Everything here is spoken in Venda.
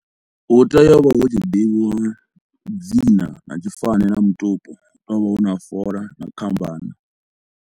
Hu tea u vha hu tshi ḓivhiwa dzina na tshifani na mutupo hu tou vha huna fola na khambana.